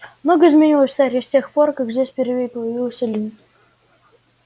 многое изменилось в таре с тех пор как здесь впервые появилась эллин